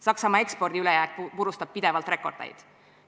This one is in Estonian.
Saksamaa ekspordi ülejääk purustab pidevalt rekordeid.